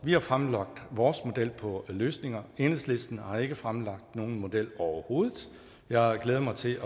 vi har fremlagt vores model på løsninger enhedslisten har ikke fremlagt nogen model overhovedet jeg glæder mig til